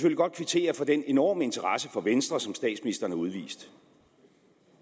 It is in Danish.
godt kvittere for den enorme interesse for venstre som statsministeren har udvist